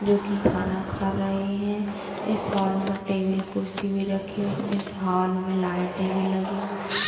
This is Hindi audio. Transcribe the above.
जो की खाना खा रहे हैं | इस होल में टेबल कुर्सी भी रखी हुई है। इस होल में लाईटे भी लगी हुई --